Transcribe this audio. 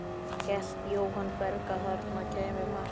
Hélt Jóhann Berg að þarna kæmi mark?